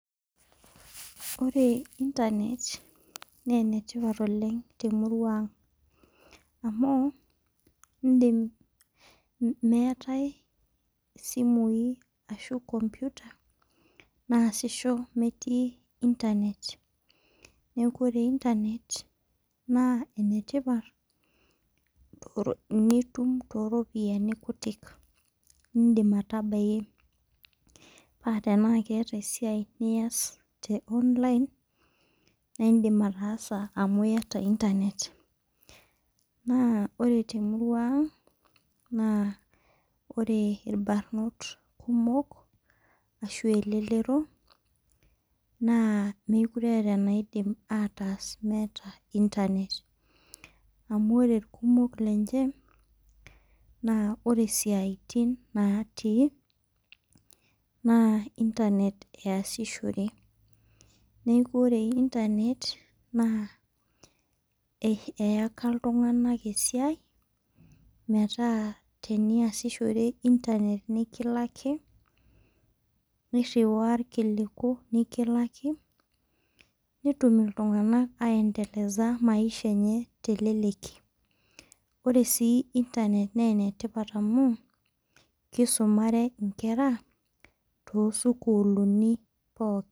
Ore internet naa ene tipat oleng' tee murua ang'amu idim meetae isimui ashu computer naasisho meeti internet neeku ore internet naa ene tipat nitum too ropiani kutik nidin atabaki paa keeta esiai niyas te online naa idim ataasa amu iyata internet. Naa ore te murua ang naa ore irbanot kumok ashu elelero naa mekure etaa anaidim ataas meeta internet amu ore ilkumok lenche naa ore siatin naati naa internet easishore. Neeku ore internet naa eyaka iltung'ana esiai meeta ore piyasishore internet nikilaki niriwaa irkiliku nikilaki nitum iltung'ana ai endeleza maisha enye teleleki. Ore sii internet naa enetipat anu kisumare inkera too sukulini pookin